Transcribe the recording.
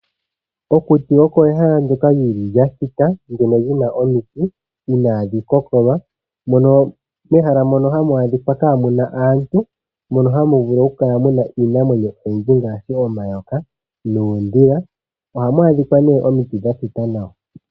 Okuti oko ehala ndyoka lili lya thita ,ndyono lyi na omiti inaadhi kokolwa. Mehala mono iha mu dhika muna aantu, mo ohamu vulu oku kala muna iinamwenyo oyindji ngaashi omayoka noondhila. Oha mu adhika omiti dha thita nawa.